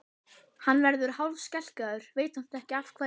Hann verður hálfskelkaður, veit samt ekki af hverju.